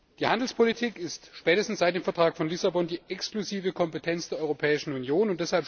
Die Handelspolitik ist spätestens seit dem Vertrag von Lissabon die exklusive Kompetenz der Europäischen Union.